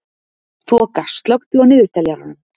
Þoka, slökktu á niðurteljaranum.